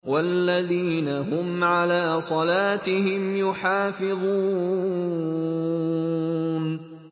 وَالَّذِينَ هُمْ عَلَىٰ صَلَاتِهِمْ يُحَافِظُونَ